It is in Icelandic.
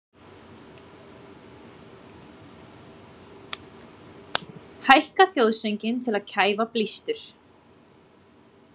Hækka þjóðsönginn til að kæfa blístur